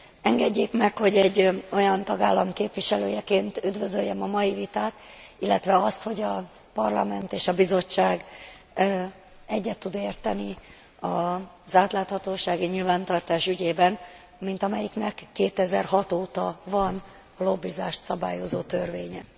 Engedjék meg, hogy egy olyan tagállam képviselőjeként üdvözöljem a mai vitát, illetve azt, hogy a Parlament és a Bizottság egyet tud érteni az átláthatósági nyilvántartás ügyében, mint amelyiknek 2006 óta van lobbizást szabályozó törvénye.